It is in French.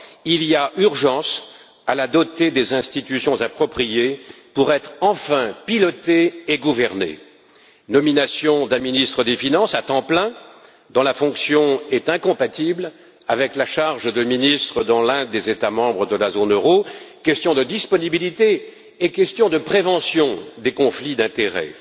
Il y a urgence à la doter des institutions appropriées pour qu'elle soit enfin pilotée et gouvernée nomination d'un ministre des finances à temps plein, dont la fonction est incompatible avec la charge de ministre dans l'un des États membres de la zone euro, question de disponibilité et question de prévention des conflits d'intérêts